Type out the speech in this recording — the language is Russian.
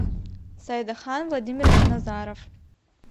сайдахан владимирович назаров